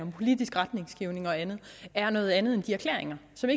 er politisk retningsgivende og andet er noget andet end de erklæringer som